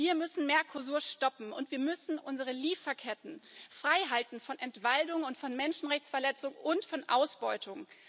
Wir müssen Mercosur stoppen, und wir müssen unsere Lieferketten freihalten von Entwaldung, von Menschenrechtsverletzung und von Ausbeutung.